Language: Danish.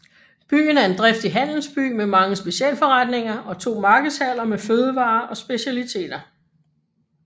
Byen er en driftig handelsby med mange specialforretninger og to markedshaller med fødevarer og specialiteter